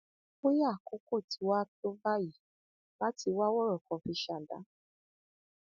bóyá àkókò tí wàá tó báyìí láti wá wọrọkọ fi ṣàdá